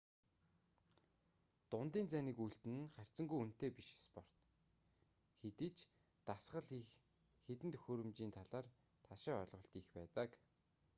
дундын зайны гүйлт нь харьцангүй үнэтэй биш спорт хэдий ч дасгал хийх хэдэн төхөөрөмжийн талаар ташаа ойлголт их байдаг